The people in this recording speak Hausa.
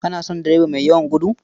Kana son direba mai yawan gudu?